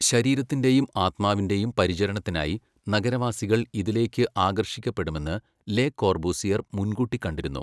ശരീരത്തിൻ്റെയും ആത്മാവിൻ്റെയും പരിചരണത്തിനായി' നഗരവാസികൾ ഇതിലേക്ക് ആകർഷിക്കപ്പെടുമെന്ന് ലെ കോർബൂസിയർ മുൻകൂട്ടി കണ്ടിരുന്നു..